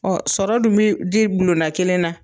Ɔ sɔrɔ dun bi di bulonda kelen na